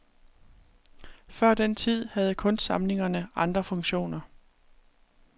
Før den tid havde kunstsamlingerne andre funktioner.